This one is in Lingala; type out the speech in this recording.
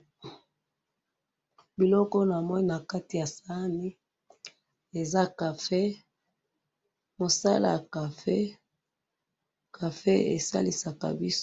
Eza café te, eza black seed